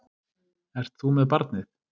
Ert þú með barnið?